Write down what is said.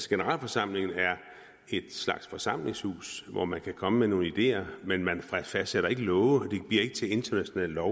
generalforsamlingen er en slags forsamlingshus hvor man kan komme med nogle ideer men man fastsætter ikke love og det bliver ikke til international lov